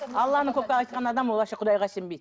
алланы только айтқан адам ол вообще құдайға сенбейді